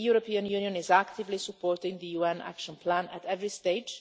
Libya. So the European Union is actively supporting the UN action plan at every